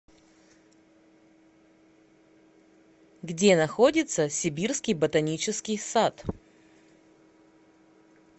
где находится сибирский ботанический сад